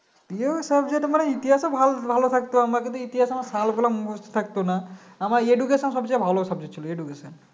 প্রিয় Subject মানে ইতিহাস ও ভালো ভালো লাগতো আমরা যদি ইতিহাস আমার সাল গুলো মনে থাকত না আমার education সবচেয়ে ভালো subject ছিল educatio